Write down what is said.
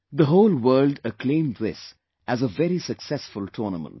The whole world acclaimed this as a very successful tournament